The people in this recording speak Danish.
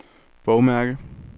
bogmærke